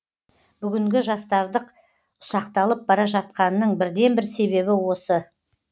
бүгінгі жастардық ұсақталып бара жатқанының бірден бір себебі осы